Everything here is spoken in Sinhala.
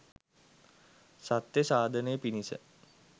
සත්‍ය සාධනය පිණිස